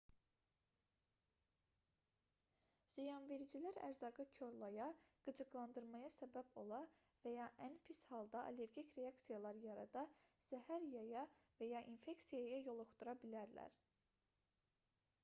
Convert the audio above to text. ziyanvericilər ərzaqı korlaya qıcıqlandırmaya səbəb ola və ya ən pis halda allergik reaksiyalar yarada zəhər yaya və ya infeksiyaya yoluxdura bilərlər